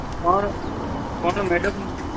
પણ મેડમ